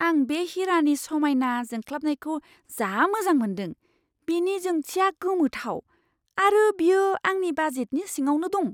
आं बे हिरानि समायना जोंख्लाबनायखौ जा मोजां मोन्दों! बेनि जोंथिया गोमोथाव, आरो बेयो आंनि बाजेटनि सिङावनो दं!